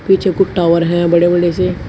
पीछे कुछ टावर है बड़े बड़े से--